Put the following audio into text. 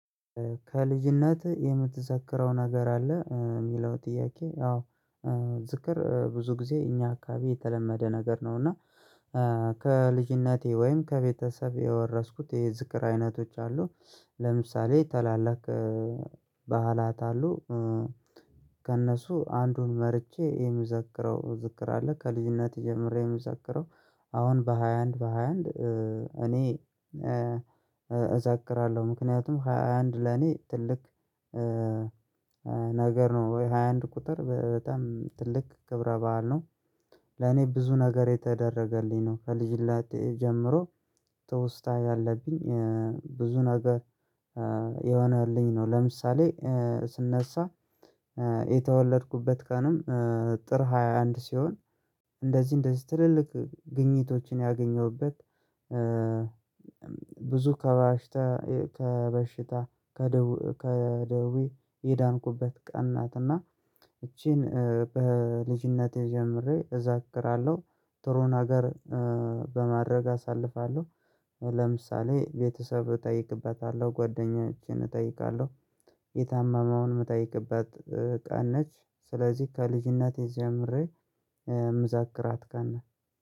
ከልጅነትህ የምትዘክረው ነገር አለ የሚለው ጥያቄ አዎ። ዝክር ብዙ ጊዜ እኛ አካባቢ የተለመደ ነገር ነው። እና ከልጅነቴ ወይም ከቤተሰብ የወረስኩት የዝክር አይነቶች አሉ። ለምሳሌ ታላላቅ ባህላት አሉ። ከእነሱ አንዱን መርጬ የምዘክረው ዝክር አለ። ከልጅነቴ ጀምሬ የምዘክረው አሁን በሃያ አንድ በሃያ አንድ። እኔ እዘከራለሁ ምክንያቱም ሃያ አንድ ለኔ ትልቅ ነገር ነው። ወይ 21 ቁጥር በጣም ትልቅ ክብረ በዓል ነው። ለኔ ብዙ ነገር የተደረገልኝ ነው ከልጅነቴ ጀምሮ። ተውስታ ያለብኝ ብዙ ነገር የሆነልኝ ነው። ለምሳሌ ስነሳ የተወለድኩበት ቀንም ጥር 21 ሲሆን። እንደዚህ እንደዚህ ትልልቅ ግኝቶችን ያገኘሁበት ብዙ ከበሽታ ከበሽታ ከደው ከደውይ የዳንኩበት ቀን ናትና። እቺን በልጅነቴ ጀምሬ እዘክራለሁ። ጥሩን ነገር በማድረግ አሳልፋለሁ። ለምሳሌ ቤተሰብ እጠይቅበታለሁ ጓደኞቼን እጠይቃለሁ። የታማመውን የምጠይቅበት ቀን ነች። ስለዚህ ከልጅነቴ የዚህ አምሬ ምዛክራት ቀና